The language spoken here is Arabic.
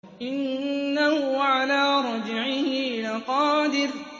إِنَّهُ عَلَىٰ رَجْعِهِ لَقَادِرٌ